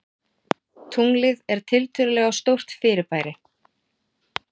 Tunglið er tiltölulega stórt fyrirbæri.